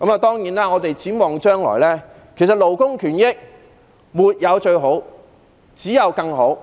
當然，我們要展望將來，其實勞工權益沒有最好、只有更好。